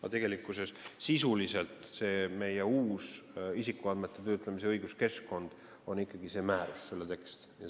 Aga tegelikult on meie uus isikuandmete töötlemise õiguskeskkond sisuliselt ikkagi see määrus, selle tekst.